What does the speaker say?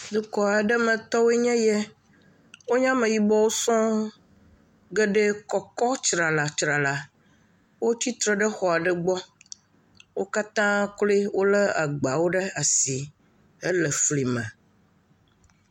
Dukɔ aɖe metɔwoe nye yɛ. Wonye Ameyibɔwo sɔŋ. Geɖe kɔkɔ tsralatsrala. Wotsi tre ɖe xɔ aɖe gbɔ. Wokatã kloe wolé agbawo ɖe asi hele flime.